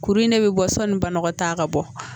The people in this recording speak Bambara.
Kuru in de bɛ bɔ sɔni banagɔtaa ka bɔ.